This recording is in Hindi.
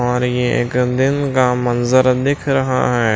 और ये एक दिन का मंजर दिख रहा है।